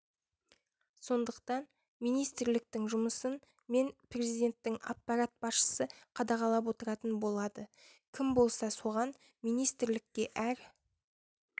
сондықтан министрліктің жұмысын мен президенттің аппарат басшысы қадағалап отыратын болады кім болса соған министрлікке әр